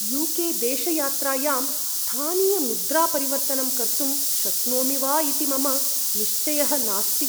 You K देशयात्रायां स्थानीयमुद्रापरिवर्तनं कर्तुं शक्नोमि वा इति मम निश्चयः नास्ति।